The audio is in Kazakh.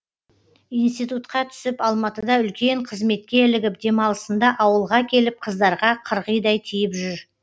институтқа түсіп алматыда үлкен қызметке ілігіп демалысында ауылға келіп қыздарға қырғидай тиіп жүр